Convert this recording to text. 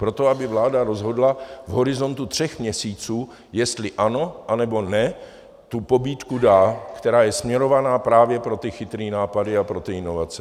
Proto aby vláda rozhodla v horizontu tří měsíců, jestli ano, anebo ne tu pobídku dát, která je směrovaná právě pro ty chytré nápady a pro ty inovace.